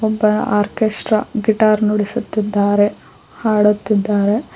ಒಬ್ಬರ orchestra guitar ನುಡಿಸುತ್ತಿದ್ದಾರೆ ಹಾಡುತ್ತಿದ್ದಾರೆ.